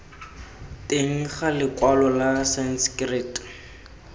teng ga lekwalo la sanskrit